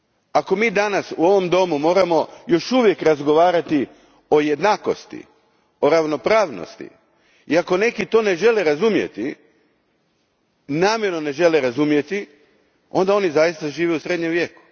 Ako mi danas u ovom domu moramo još uvijek razgovarati o jednakosti i ravnopravnosti i ako neki to namjerno ne žele razumjeti, onda oni zaista žive u Srednjem vijeku.